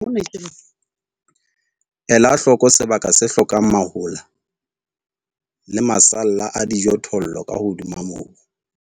Ela hloko sebaka se hlokang mahola le masalla a dijothollo ka hodima mobu.